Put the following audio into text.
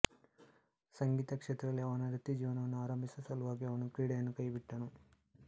ಸಂಗೀತ ಕ್ಷೇತ್ರದಲ್ಲಿ ಅವನ ವೃತ್ತಿಜೀವನವನ್ನು ಆರಂಭಿಸುವ ಸಲುವಾಗಿ ಅವನು ಕ್ರೀಡೆಯನ್ನು ಕೈಬಿಟ್ಟನು